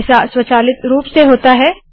ऐसा स्वचालित रूप से होता है